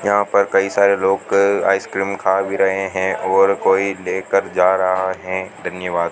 यहां पर कई सारे लोग आइसक्रीम खा भी रहे हैं और कोई लेकर जा रहा है धन्यवाद।